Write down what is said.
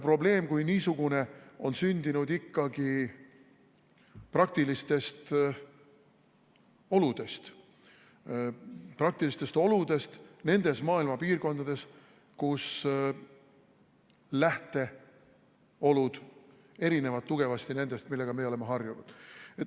Probleem kui niisugune on sündinud ikkagi praktilistest oludest nendes maailma piirkondades, kus lähteolud erinevad tugevasti nendest, millega meie oleme harjunud.